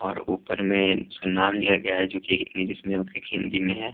और ऊपर में उसका नाम लिया गया है जो कि एक इंग्लिश में और एक हिंदी में है ।